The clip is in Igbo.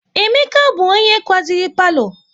Emeka bụ onye kwaziri palo